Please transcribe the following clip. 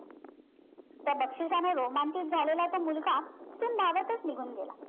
त्या बक्षिसाने रोमांचित झालेला तो मुलगा तिथून धावतच निघून गेला